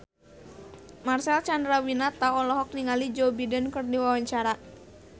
Marcel Chandrawinata olohok ningali Joe Biden keur diwawancara